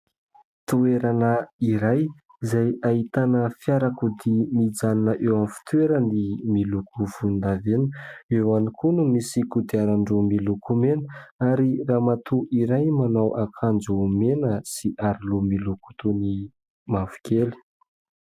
Toerana iray izay ahitana fiarakodia mijanona eo amin'ny fitoerany miloko volon-davenona. Eo ihany koa no misy kodiaran-droa miloko mena ary ramatoa iray manao akanjo mena sy aro loha miloko toy mavokely.